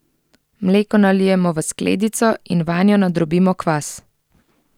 Mleko nalijemo v skledico in vanjo nadrobimo kvas.